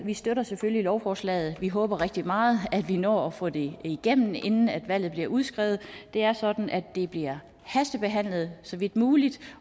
vi støtter selvfølgelig lovforslaget vi håber rigtig meget at vi når at få det igennem inden valget bliver udskrevet det er sådan at det bliver hastebehandlet så vidt muligt